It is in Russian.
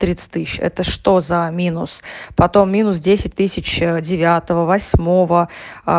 тридцать тысяч это что за минус потом минус десять тысяч девятого восьмого